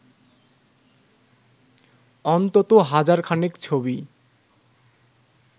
অন্তত হাজার খানেক ছবি